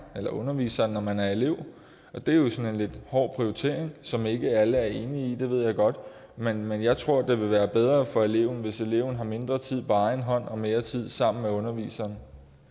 eller underviseren når man er elev og det er jo sådan en lidt hård prioritering som ikke alle er enige i det ved jeg godt men men jeg tror at det vil være bedre for eleverne hvis eleverne har mindre tid på egen hånd og mere tid sammen med underviseren